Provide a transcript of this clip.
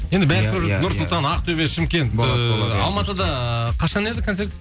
нұр сұлтан ақтөбе шымкент ыыы алматыда ыыы қашан еді концерт